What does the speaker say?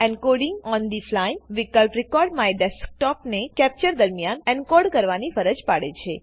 encoding on the Flyવિકલ્પ recordMyDesktopને capture દરમિયાન એનકોડ કરવાની ફરજ પાડે છે